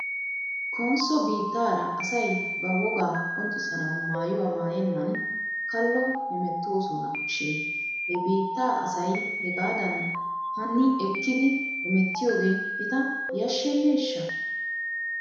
Konsso biittaara asay ba wogaa qonccissanaw maayuwaa maayennan kallo hemittoosona shin he biittaa asay hegaadan hani ekkidi hemettiyoogee eta yashsheneeshsha?